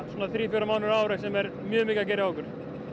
þrír fjórir mánuðir á ári sem er mjög mikið að gera hjá okkur